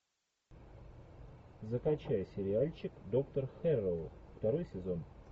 закачай сериальчик доктор хэрроу второй сезон